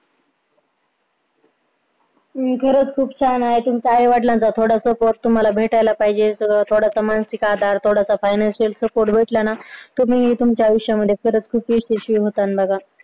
खरंच खूप छान तुमच्या आई वडिलांचं थोडंस support तुम्हाला भेटायला पाहिजे सगळं थोडस मानसिक आधार थोडंसं financial support भेटला ना तुम्ही तुमच्या आयुष्यामध्ये खरच खूप खुश यशस्वी होतान बाबा